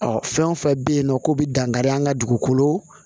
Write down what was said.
fɛn o fɛn bɛ yen nɔ ko bɛ dankari an ka dugukolo